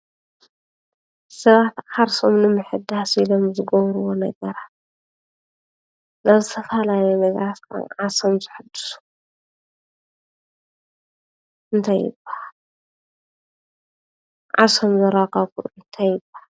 ሰባት ዓርሶም ንምሕዳስ ኤሎም ዝገብርዎ ነገራት ናብ ዝተፈላለዩ ነገራት ዓርሶም ዘሕድሱ እንታይ ይበሃል ? ዓርሶም ዘረጋግዕሉ እንታይ ይበሃል?